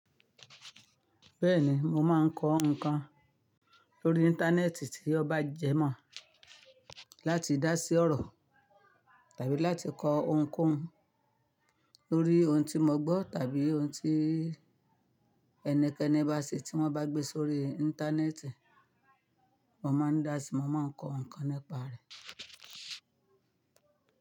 Bẹ́ẹ̀ni, mo máa ń kọ́ nǹkan lórí Íńtánẹ́ẹ̀tì tí ó bá jẹ́ mọ̀, láti dá sí ọ̀rọ̀ tàbí láti kọ ohunkóhun lórí ohun tí mo gbọ́ tàbí ohun tí ẹnikẹ́ni bá ṣe tí wọ́n bá gbé sórí Íńtánẹ́ẹ̀tì, mo máa ń dá sí i, mo máa ń kọ́ nǹkan nípa rẹ̀.